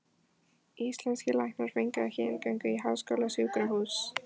Íslenskir læknar fengju ekki inngöngu í háskólasjúkrahús